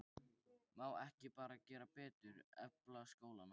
Má ekki bara gera betur, efla skólann?